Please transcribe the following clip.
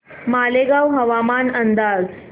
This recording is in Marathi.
मालेगाव हवामान अंदाज